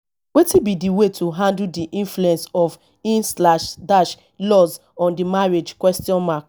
wetin be di way to handle di influence of in slash dash laws on di marriage question mark